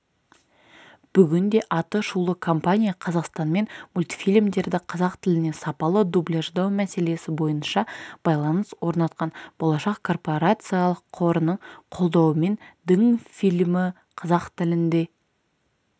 бүгінде атышулы компания қазақстанмен мультфильмдерді қазақ тіліне сапалы дубляждау мәселесі бойынша байланыс орнатқан болашақ корпорациялық қорының қолдауымен дің фильмі қазақ тілінде